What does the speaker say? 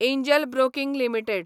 angel Broking limited